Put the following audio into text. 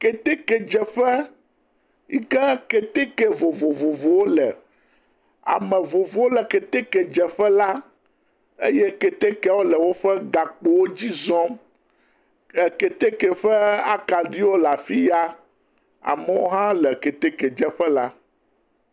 Ketekedzeƒe, yi ke keteke vovovovowo le, ame vovovowo le keteke dzeƒe la, eye ketekeawo le woƒe gakpowo dzi zɔm, ee.., keteke ƒe akaɖiwo le afi ya, amewo hã le keteke dzeƒe la.